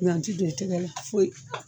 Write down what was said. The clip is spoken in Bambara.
Nga n ti don i tɛgɛ la foyi